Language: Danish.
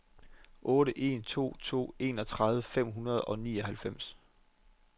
otte en to to enogtredive fem hundrede og nioghalvfems